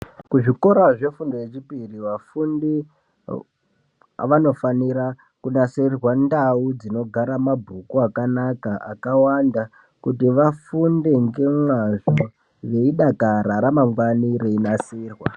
Kuzvikora zvefundo yechipiri vafundi vanofanira kunasirirwa ndau dzinogara mabhuku akanaka akawanda kuti vafunde ngemazvo veidakara ramangwani reinasirwa.